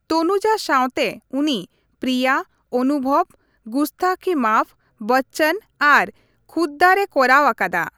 ᱛᱚᱱᱩᱡᱟ ᱥᱟᱣᱛᱮ ᱩᱱᱤ ᱯᱨᱤᱭᱟ, ᱚᱱᱩᱵᱷᱚᱵ, ᱜᱩᱥᱛᱟᱠᱤ ᱢᱟᱯᱷ, ᱵᱚᱪᱯᱚᱱ ᱟᱨ ᱠᱷᱩᱫᱼᱫᱟᱨᱼᱮ ᱠᱚᱨᱟᱣ ᱟᱠᱟᱫᱟ ᱾